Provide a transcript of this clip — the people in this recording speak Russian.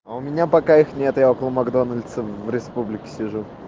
а у меня пока их нет я около макдональдса в республике сижу